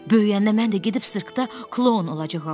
Böyüyəndə mən də gedib sirkdə kloun olacağam.